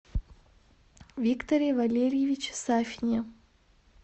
викторе валерьевиче сафине